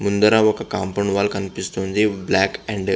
ముందర ఒక compound wall కనిపిస్తుంది బ్లాక్ అండ్ --